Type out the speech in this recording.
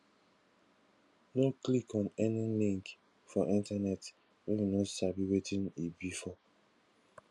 no click on any link for internet wey you no sabi wetin e be for